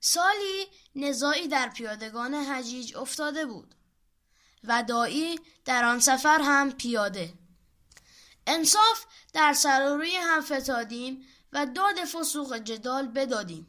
سالی نزاعی در پیادگان حجیج افتاده بود و داعی در آن سفر هم پیاده انصاف در سر و روی هم فتادیم و داد فسوق و جدال بدادیم